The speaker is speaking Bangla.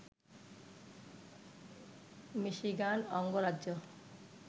মিশিগান অঙ্গরাজ্য